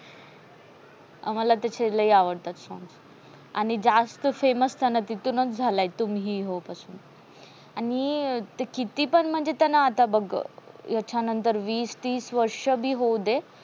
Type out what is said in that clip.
आम्हाला त्याचे लय आवडतात songs आणि जास्त famous त्यान तिथूनस झाला. तुम ही हो पासून आणि किती पण म्हणजे ते त्याला बघ त्याच्यानंतर वीस, तीस वर्ष बी होऊ दे